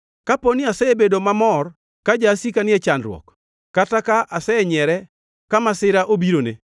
“Kapo ni asebedo mamor ka jasika ni e chandruok kata ka asenyiere ka masira obirone,